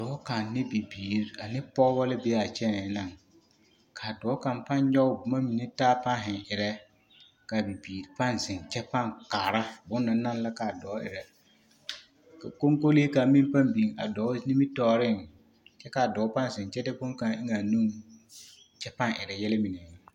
Dɔɔ kaŋ ane bibiiri ane pɔɡebɔ la be a kyɛnɛɛ na ka a dɔɔ kaŋ pãã nyɔɡe boma mine taa pãã zeŋ erɛ ka a bibiiri pãã zeŋ kyɛ kaara bone na naŋ la ka a dɔɔ erɛ ka kɔŋkolee kaŋ meŋ pãã biŋ a dɔɔ nimitɔɔreŋ kyɛ a dɔɔ pãã zeŋ kyɛ de bone kaŋ eŋ a nuŋ kyɛ pãã erɛ yɛlɛ mine.